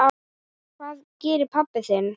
Hvað gerir pabbi þinn?